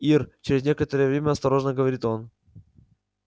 ир через некоторое время осторожно говорит он